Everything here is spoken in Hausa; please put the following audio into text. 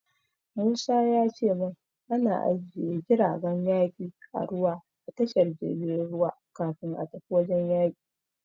Musa ya ce min ana ajiye jiragen yaki na ruwa a tashar jirgin ruwa kafin a tafi wajen yaki.